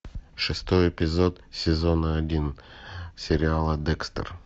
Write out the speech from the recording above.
шестой эпизод сезона один сериала декстер